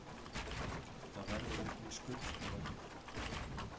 Það verður engin skurðstofa hér